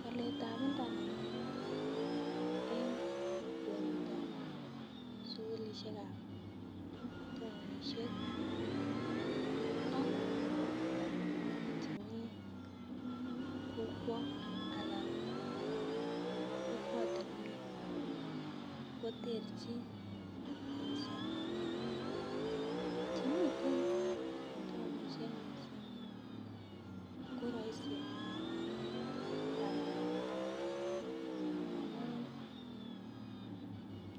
Waletab internet en kwenutab sukulishekab townishek ak chemeii kokwo an kokwotunwek koterchin missing chemiten en townishek koroisi walet amun